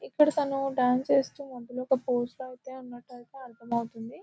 ఇక్కడ తను డాన్స్ చేస్తున్నప్పుడు ఒక ఫోసు లాగా ఉన్నట్టు అయితే అర్థమవుతుంది.